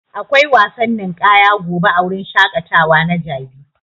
Akwai wasan ninƙaya gobe a wurin shaƙatawa na jabi.